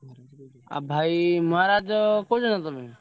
ଆଉ ଭାଇ ମହାରାଜ କହୁଛ ନା ତମେ?